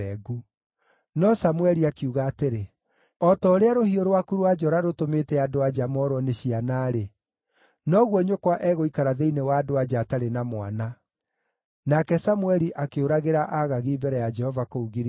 No Samũeli akiuga atĩrĩ, “O ta ũrĩa rũhiũ rwaku rwa njora rũtũmĩte andũ-a-nja moorwo nĩ ciana-rĩ, noguo nyũkwa egũikara thĩinĩ wa andũ-a-nja atarĩ na mwana.” Nake Samũeli akĩũragĩra Agagi mbere ya Jehova kũu Giligali.